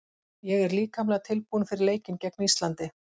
Ég er líkamlega tilbúinn fyrir leikinn gegn Íslandi.